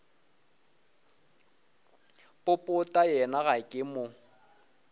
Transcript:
popota yena ga ke mo